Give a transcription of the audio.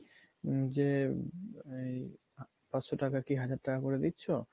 যে মানে পাঁচশো টাকা কি হাজার টাকা করে দিচ্ছ